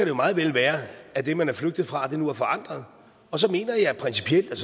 jo meget vel være at det man er flygtet fra nu er forandret og så mener jeg principielt at